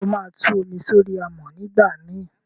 sé óma Tú omi sori amọ nigbamii?